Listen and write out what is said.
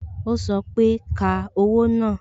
o sọ pé "Ka owó náà"